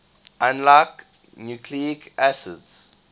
unlike nucleic acids